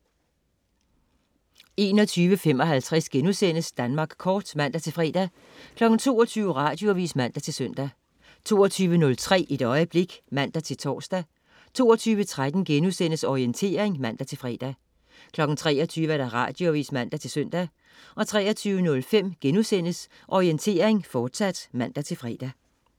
21.55 Danmark Kort* (man-fre) 22.00 Radioavis (man-søn) 22.03 Et øjeblik (man-tors) 22.13 Orientering* (man-fre) 23.00 Radioavis (man-søn) 23.05 Orientering, fortsat* (man-fre)